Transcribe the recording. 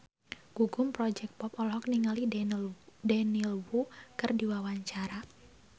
Gugum Project Pop olohok ningali Daniel Wu keur diwawancara